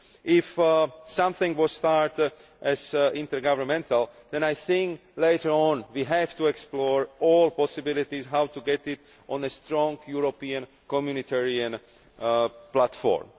If something was started as intergovernmental, then I think that later on we have to explore all possibilities as to how to get it on to a strong European Communitarian platform.